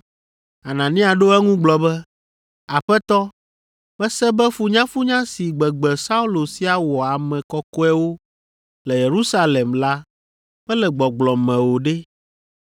Anania ɖo eŋu gblɔ be, “Aƒetɔ, mese be funyafunya si gbegbe Saulo sia wɔ ame kɔkɔewo le Yerusalem la mele gbɔgblɔ me o ɖe!